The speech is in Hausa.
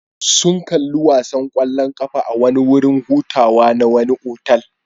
Sun kalli wasan kwallon kafa a wurin hutawa na wani otal.